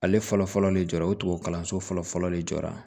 Ale fɔlɔ fɔlɔ de jɔ ye o kalanso fɔlɔ fɔlɔ de jɔ la